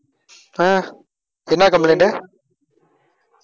ஆஹ் என்ன complaint உ